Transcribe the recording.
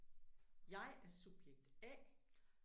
Jeg er subjekt A